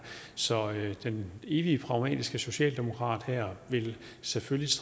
så den evigt pragmatiske socialdemokrat her vil selvfølgelig